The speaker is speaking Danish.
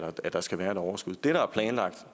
at der skal være et overskud det der er planlagt